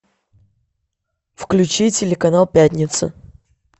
включи телеканал пятница